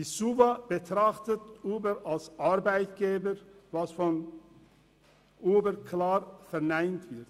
Die SUVA betrachtet Uber als Arbeitgeber, was von Uber klar verneint wird.